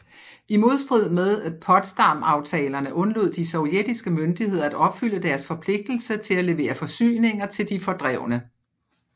I modstrid med Potsdamaftalerne undlod de sovjetiske myndigheder at opfylde deres forpligtelse til at levere forsyninger til de fordrevne